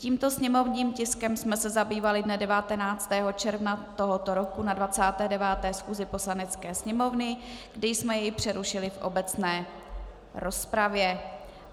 Tímto sněmovním tiskem jsme se zabývali dne 19. června tohoto roku na 29. schůzi Poslanecké sněmovny, kdy jsme jej přerušili v obecné rozpravě.